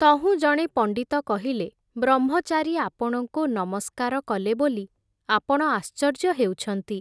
ତହୁଁ ଜଣେ ପଣ୍ଡିତ କହିଲେ, ବ୍ରହ୍ମଚାରୀ ଆପଣଙ୍କୁ ନମସ୍କାର କଲେ ବୋଲି, ଆପଣ ଆଶ୍ଚର୍ଯ୍ୟ ହେଉଛନ୍ତି ।